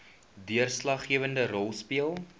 deurslaggewende rol speel